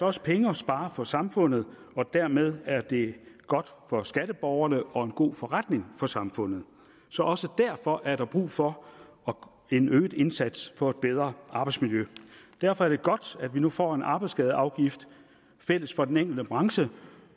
også penge at spare for samfundet og dermed er det godt for skatteborgerne og en god forretning for samfundet så også derfor er der brug for en øget indsats for et bedre arbejdsmiljø derfor er det godt at vi nu får en arbejdsskadeafgift fælles for den enkelte branche